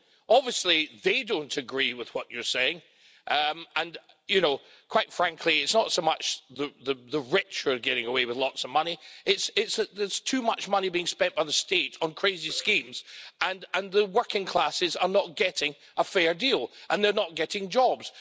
Obviously they don't agree with what you're saying and quite frankly it's not so much the rich who are getting away with lots of money, its that there's too much money being spent by the state on crazy schemes and the working classes are not getting a fair deal and they're not getting jobs.